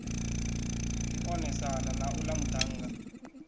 ḓi onesana na uḽa muṱhannga